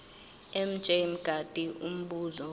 mj mngadi umbuzo